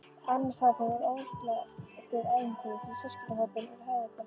Afmælishátíðin var óslitið ævintýri fyrir systkinahópinn úr höfuðborginni.